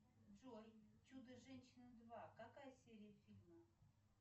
джой чудо женщина два какая серия фильма